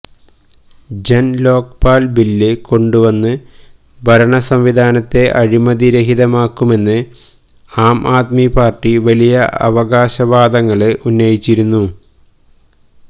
ജന് Lokpal bill കൊണ്ടുവന്ന് ഭരണ സംവിധാനത്തെ അഴിമതി രഹിതമാക്കുമെന്ന് ആം ആദ്മി പാര്ട്ടി വലിയ അവകാശ വാദങ്ങള് ഉന്നയിച്ചിരുന്നു